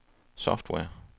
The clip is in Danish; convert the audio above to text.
software